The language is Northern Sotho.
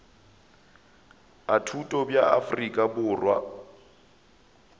a thuto bja afrika borwa